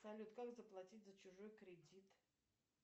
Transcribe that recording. салют как заплатить за чужой кредит